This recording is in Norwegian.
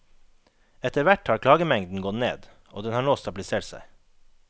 Etterhvert har klagemengden gått ned, og den har nå stabilisert seg.